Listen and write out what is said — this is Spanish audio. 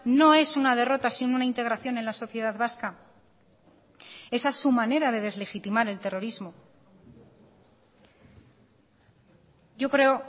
no es una derrota sino una integración en la sociedad vasca esa es su manera de deslegitimar el terrorismo yo creo